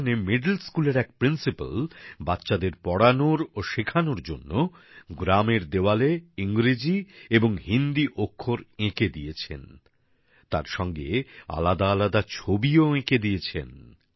সেখানে মিডল স্কুলের এক প্রিন্সিপ্যাল বাচ্চাদের পড়ানোর জন্য ও শেখানোর জন্য গ্রামের দেওয়ালে ইংরেজি এবং হিন্দি অক্ষর এঁকে দিয়েছেন তারসঙ্গে আলাদা আলাদা ছবিও এঁকে দিয়েছেন